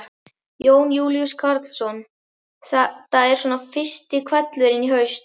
Jón Júlíus Karlsson: Þetta er svona fyrsti hvellurinn í haust?